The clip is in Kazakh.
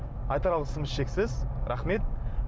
айтар алғысымыз шексіз рахмет